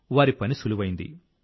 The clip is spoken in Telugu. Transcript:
వారి పని సులువైంది